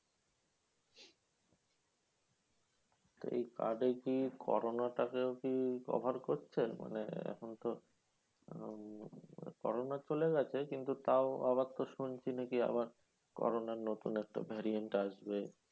এই card এ কি corona টা কেও কি cover করছে? মানে এখন তো উম corona চলে গেছে, কিন্তু তাও আবার তো শুনছি নাকি আবার corona নতুন একটা variant আজকে